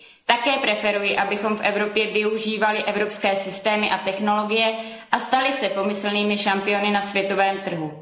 Také preferuji, abychom v Evropě využívali evropské systémy a technologie a stali se pomyslnými šampiony na světovém trhu.